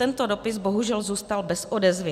Tento dopis bohužel zůstal bez odezvy.